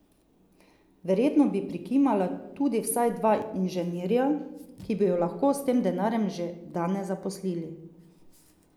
Verjetno bi prikimala tudi vsaj dva inženirja, ki bi ju lahko s tem denarjem že danes zaposlili.